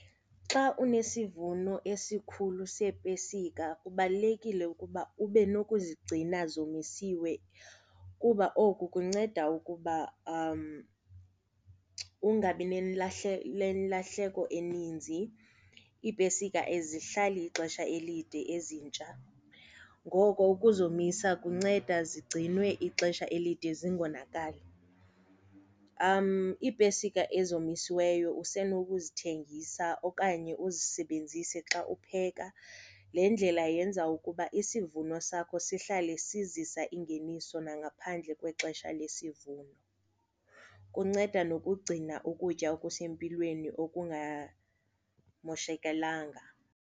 Xa unesivuno esikhulu seepesika kubalulekile ukuba ube nokuzigcina zomisiwe kuba oku kunceda ukuba ungabi nelahleko ilahleko eninzi. Iipesika azihlala ixesha elide ezintsha, ngoko ukuzomisa kunceda zigcinwe ixesha elide zingonakali. Iipesika ezomisiweyo usenokuzithengisa okanye uzisebenzise xa upheka, le ndlela yenza ukuba isivuno sakho sihlale sizisa ingeniso nangaphandle kwexesha lesivuno, kunceda nokugcina ukutya okusempilweni okungamoshakalanga.